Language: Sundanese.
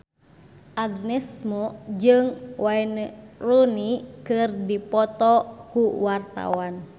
Agnes Mo jeung Wayne Rooney keur dipoto ku wartawan